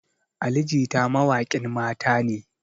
Ali jita mawaƙin mata ne